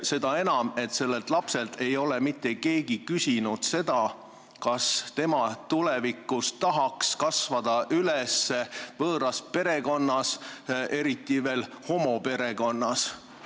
Seda enam, et sellelt lapselt ei ole mitte keegi küsinud, kas ta tahaks tulevikus kasvada üles võõras perekonnas, eriti veel homoperekonnas.